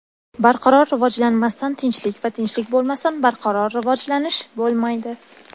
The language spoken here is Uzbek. Barqaror rivojlanmasdan tinchlik va tinchlik bo‘lmasdan barqaror rivojlanish bo‘lmaydi.